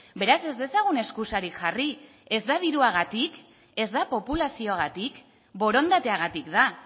beraz ez dezagun eskusarik jarri ez da diruagatik ez da populazioagatik borondateagatik da